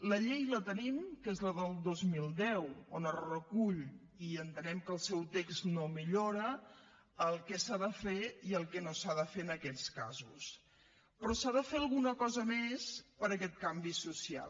la llei la tenim que és la del dos mil deu on es recull i entenem que el seu text no ho millora el que s’ha de fer i el que no s’ha de fer en aquests casos però s’ha de fer alguna cosa més per a aquest canvi social